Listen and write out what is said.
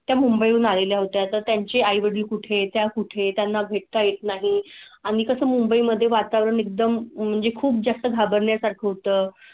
मुंबईहून आलेल्या होत्या. त्यांचे आई वडील कुठे च्या कुठे त्यांना भेट ता येत नाही आणि कसं? मुंबई मध्ये वातावरण एकदम म्हणजे खूप जास्त घाबरण्या साठी उत्तम.